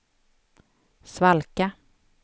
svalka